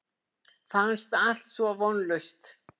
Fannst allt svo vonlaust.